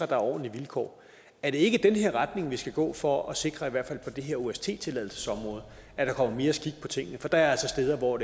der er ordentlige vilkår er det ikke den her retning vi skal gå i for at sikre i hvert fald på det her ost tilladelsesområde at der kommer mere skik på tingene for der er altså steder hvor